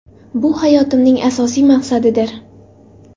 Bu hayotimning asosiy maqsadidir.